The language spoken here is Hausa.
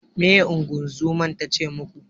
Meye ingozuman tace muku?